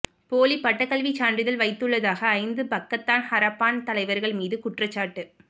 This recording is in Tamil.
போலி பட்டக்கல்விச் சான்றிதழ் வைத்துள்ளதாக ஐந்து பக்கத்தான் ஹரப்பான் தலைவர்கள் மீது குற்றச்சாட்டு